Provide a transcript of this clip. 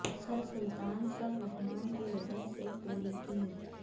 سر Sultan sir Rahman کی وجہ سے پوری ٹیم